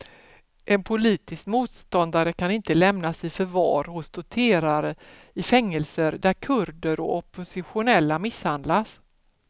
En politisk motståndare kan inte lämnas i förvar hos torterare i fängelser där kurder och oppositionella misshandlas.